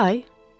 Altı ay?